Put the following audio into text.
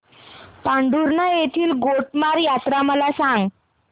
पांढुर्णा येथील गोटमार यात्रा मला सांग